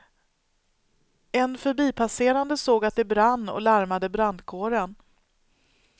En förbipasserande såg att det brann och larmade brandkåren.